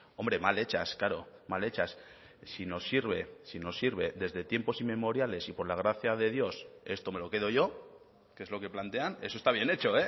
hombre mal hechas claro mal hechas si nos sirve si nos sirve desde tiempos inmemoriales si por la gracia de dios esto me lo quedo yo que es lo que plantean eso está bien hecho